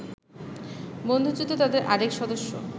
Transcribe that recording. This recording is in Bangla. বন্দুকযুদ্ধে তাদের আরেক সদস্য